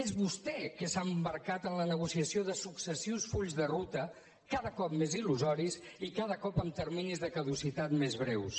és vostè qui s’ha embarcat en la negociació de successius fulls de ruta cada cop més il·lusoris i cada cop amb terminis de caducitat més breus